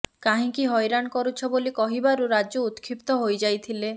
କାହିଁକି ହଇରାଣ କରୁଛ ବୋଲି କହିବାରୁ ରାଜୁ ଉତ୍କ୍ଷିପ୍ତ ହୋଇ ଯାଇଥିଲେ